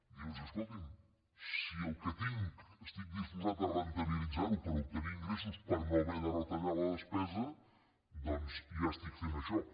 dius escolti’m si el que tinc estic disposat a rendibilitzar ho per obtenir ingressos per no haver de retallar la despesa doncs ja estic fent això